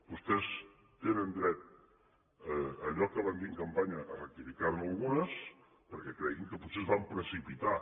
vostès tenen dret allò que van dir en campanya a rectificar ne algunes perquè creguin que potser es van precipitar